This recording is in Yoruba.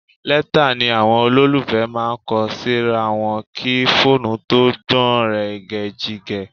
Lẹ́tà ni àwọn olólùfẹ́ máa ń kọ síra wọn kí fóònù tó gbọ̀nrẹ̀gẹ̀jigẹ̀